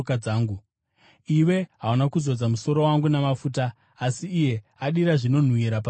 Iwe hauna kuzodza musoro wangu namafuta, asi iye adira zvinonhuhwira patsoka dzangu.